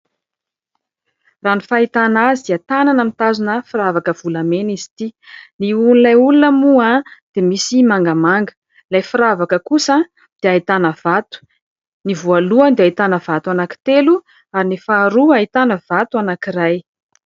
Raha ny fahitana azy dia tanana mitazona firavaka volamena izy ity. Ny hohon'ilay olona moa dia misy mangamanga, ilay firavaka kosa dia ahitana vato, ny voalohany dia ahitana vato anankitelo ary ny faharoa ahitana vato anankiray.